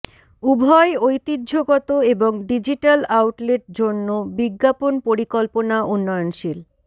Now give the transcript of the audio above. উভয় ঐতিহ্যগত এবং ডিজিটাল আউটলেট জন্য বিজ্ঞাপন পরিকল্পনা উন্নয়নশীল